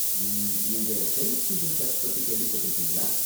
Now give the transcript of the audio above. உம்.. நீங்க saint Stephen church பத்தி கேள்விபட்டிருக்கீங்களா?